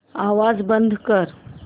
आवाज बंद कर